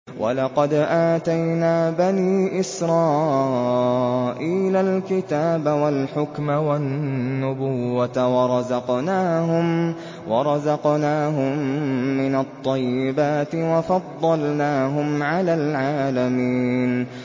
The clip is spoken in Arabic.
وَلَقَدْ آتَيْنَا بَنِي إِسْرَائِيلَ الْكِتَابَ وَالْحُكْمَ وَالنُّبُوَّةَ وَرَزَقْنَاهُم مِّنَ الطَّيِّبَاتِ وَفَضَّلْنَاهُمْ عَلَى الْعَالَمِينَ